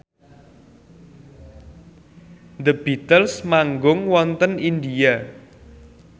The Beatles manggung wonten India